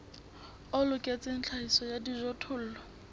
o loketseng tlhahiso ya dijothollo